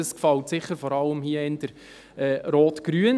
Das gefällt hier sicher eher Rot-Grün.